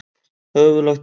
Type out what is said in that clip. Höfuð lagt í bleyti.